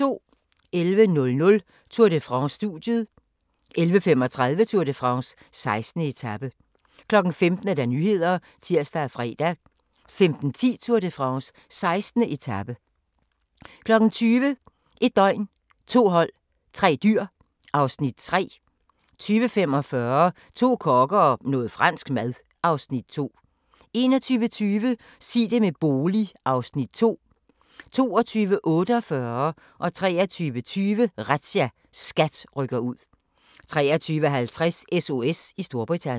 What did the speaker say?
11:00: Tour de France: Studiet 11:35: Tour de France: 16. etape 15:00: Nyhederne (tir og fre) 15:10: Tour de France: 16. etape 20:00: 1 døgn, 2 hold, 3 dyr (Afs. 3) 20:45: To kokke og noget fransk mad (Afs. 2) 21:20: Sig det med bolig (Afs. 2) 22:48: Razzia - SKAT rykker ud 23:20: Razzia - SKAT rykker ud 23:50: SOS i Storbritannien